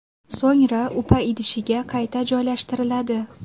So‘ngra upa idishiga qayta joylashtiriladi.